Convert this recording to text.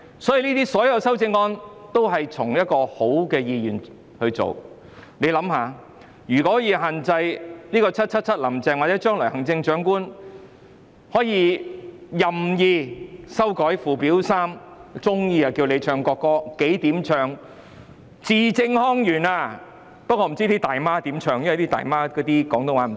所有修正案也是以良好的意願提出，大家想想，如果 "777 林鄭"或將來的行政長官可以任意修改附表 3， 隨意要人唱國歌，要字正腔圓，不知道"大媽"怎樣唱，因為她們的廣東話不正宗......